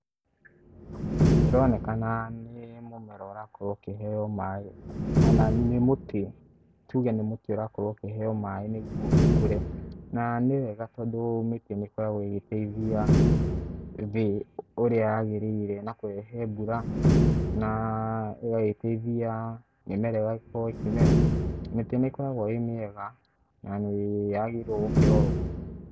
Ĩronekana nĩ mũmera ukĩheo maĩ ona ni muti, tuge ni mũti urakorwo ukĩheo maĩ nĩguo ũkũre, na nĩ wega tondũ mĩtĩ nĩ ĩkoragwo ĩgĩteithia thee ũrĩa yagĩirĩire na kũrehe mbura na ĩgageteithia mĩmera gũkorwo ĩkĩmera, mĩtĩ nĩ ĩkoragwo e mĩega na ni yagĩrĩirwo gũkĩrorwo.